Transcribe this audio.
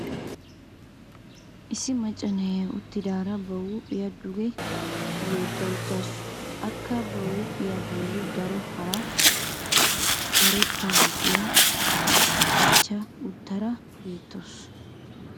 issi macca na'iyaa uttidaara ba huuphiya duge yeddada uttaasu. akka ba huuphiya boli daro hara karetta huuphiya qachcha uttaara beetawusu.